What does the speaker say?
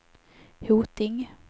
Hoting